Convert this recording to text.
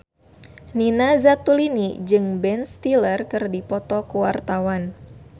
Nina Zatulini jeung Ben Stiller keur dipoto ku wartawan